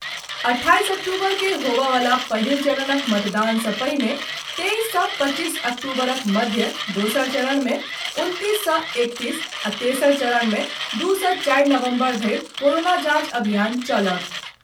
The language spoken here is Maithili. अट्ठाईस अक्टूबर के होबय वला पहिल चरणक मतदान सँ पहिने तेईस सँ पच्चीस अक्टूबरक मध्य, दोसर चरण मे उनतीस सँ एकतीस आ तेसर चरण मे दू सँ चारि नवम्बर धरि कोरोना जांच अभियान चलत।